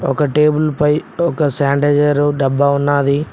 ఒక టేబుల్ పై ఒక శానిటైజర్ డబ్బా ఉన్నది.